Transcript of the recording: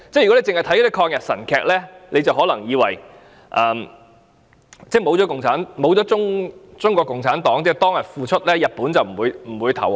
如果只看抗日神劇，可能會以為沒有中國共產黨當天的付出，日本便不會投降。